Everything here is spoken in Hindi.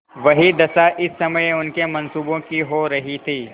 वही दशा इस समय उनके मनसूबों की हो रही थी